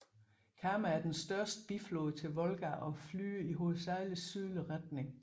Kama er den største biflod til Volga og flyder i hovedsagelig sydlig retning